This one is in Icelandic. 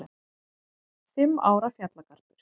Fimm ára fjallagarpur